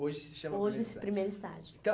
Hoje se chama primeiro estágio. Hoje se primeiro estágio